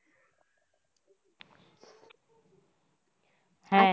হ্যা